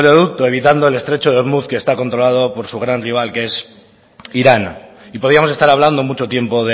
oleoducto evitando el estrecho de ormuz que está controlado por su gran rival que es irán y podíamos estar hablando mucho tiempo